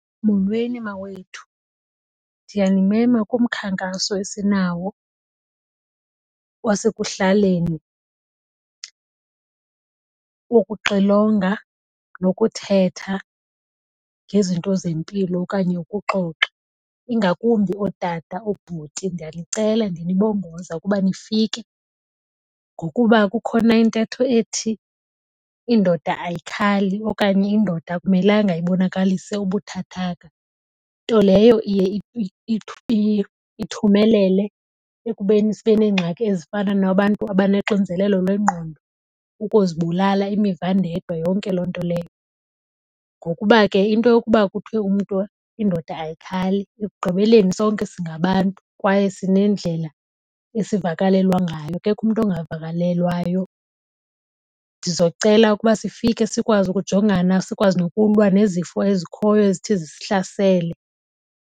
Molweni mawethu, ndiyanimema kumkhankaso esinawo wasekuhlaleni wokuxilonga nokuthetha ngezinto zempilo okanye ukuxoxa. Ingakumbi ootata oobhuti ndiyanicela ndinibongoza ukuba nifike ngokuba kukhona intetho ethi indoda ayikhali okanye indoda akumelanga ibonakalise ubuthathaka. Nto leyo iye ithumelele ekubeni sibe neengxaki ezifana nabantu abanoxinzelelo lwengqondo, ukuzibulala, imivandedwa yonke loo nto leyo. Ngokuba ke into yokuba kuthiwe umntu indoda ayikhali ekugqibeleni sonke singabantu kwaye sinendlela esivakalelwa ngayo, akekho umntu ongavakalelwayo. Ndizocela uba sifike sikwazi ukujongana, sikwazi nokulwa nezifo ezikhoyo ezithi zisihlasele.